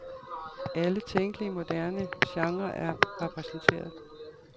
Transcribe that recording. Alle tænkelige moderne genrer er repræsenteret.